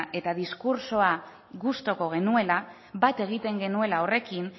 eta diskurtsoa gustuko genuena bat egiten genuela horrekin